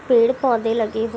पेड़ पौधे लगे हुए --